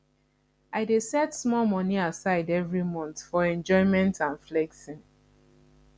i dey set small money aside every month for enjoyment and flexing